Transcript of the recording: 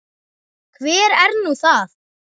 Hver er nú það?